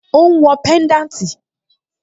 Ó ń wọ pẹ́ńdáǹtì?